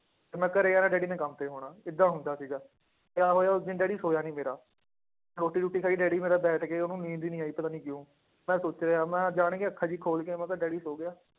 ਤੇ ਮੈਂ ਘਰੇ ਆਉਣਾ ਡੈਡੀ ਨੇ ਕੰਮ ਤੇ ਹੋਣਾ ਏਦਾਂ ਹੁੰਦਾ ਸੀਗਾ, ਕਿਆ ਹੋਇਆ ਉਸ ਦਿਨ ਡੈਡੀ ਸੋਇਆ ਨੀ ਮੇਰਾ, ਰੋਟੀ ਰੂਟੀ ਖਾਈ ਡੈਡੀ ਮੇਰਾ ਬੈਠ ਕੇ ਉਹਨੂੰ ਨੀਂਦ ਹੀ ਨੀ ਆਈ ਪਤਾ ਨੀ ਕਿਉਂ, ਮੈਂ ਸੋਚ ਰਿਹਾਂ ਮੈਂ ਜਾਣ ਕੇ ਅੱਖਾਂ ਜਿਹੀਆਂ ਖੋਲ ਕੇ ਮੈਂ ਕਿਹਾ ਡੈਡੀ ਸੌਂ ਗਿਆ,